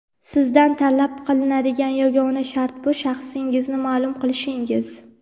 Sizdan talab qilinadigan yagona shart bu - shaxsingizni ma’lum qilishingiz!.